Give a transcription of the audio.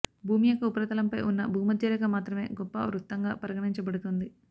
భూమి యొక్క ఉపరితలంపై ఉన్న భూమధ్యరేఖ మాత్రమే గొప్ప వృత్తంగా పరిగణించబడుతుంది